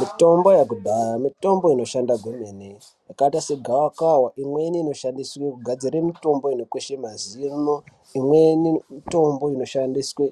Mitombo yekudhaya mitombo inoshanda kwemene yakaita segavakava. Imweni inoshandiswe kugadzire mitombo inokweshe mazino, imweni mitombo inoshandiswe